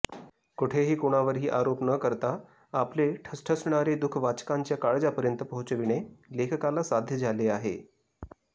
कोठेही कोणावरही आरोप न करता आपले ठसठसणारे दुःख वाचकांच्या काळजापर्यंत पोहचविणे लेखकाला साध्य झाले आहे